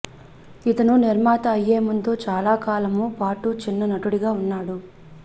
ఇతను నిర్మాత అయ్యే ముందు చాలా కాలము పాటు చిన్న నటుడిగా ఉన్నాడు